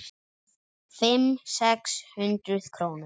Fimm, sex hundruð krónur?